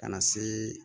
Ka na se